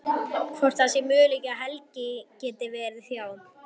Hvort það sé möguleiki að Helgi geti verið hjá.